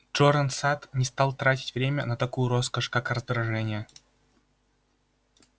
джоран сатт не стал тратить время на такую роскошь как раздражение